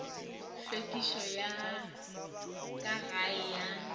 hlwekišo ya ka gae ya